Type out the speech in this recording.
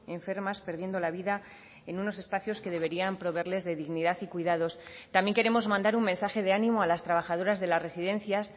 enfermas perdiendo la vida en unos espacios que deberían proveerles de dignidad y cuidados también queremos mandar un mensaje de ánimo a las trabajadoras de las residencias